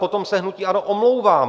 Potom se hnutí ANO omlouvám.